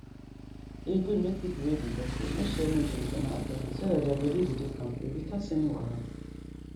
e good make people wey be doctor no share needle with another person so that their body go dey kampe without any wahala